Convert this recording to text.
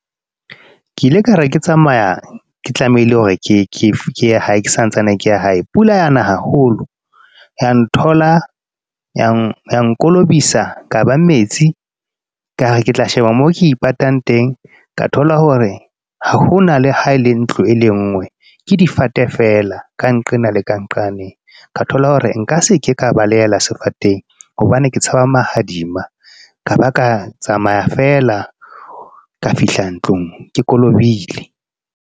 Ke ile ka re, ke tsamaya, ke tlamehile hore ke ye santsane ke ya hae. Pula yana haholo. Ya nthola, yang kolobisa kaba metsi. Kare ke tla sheba moo ke ipatang teng. Ka thola hore ha hona le ha le ntlo e le nngwe. Ke difate fela, ka nqena le ka nqane. Ka thola hore nka se ke ka balehela sefateng, hobane ke tshaba mahadima. Ka ba ka tsamaya feela ka fihla ntlong ke kolobile.